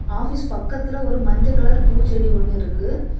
Office பக்கத்துல ஒரு மஞ்ச கலர் பூச்செடி ஒன்னு இருக்கு.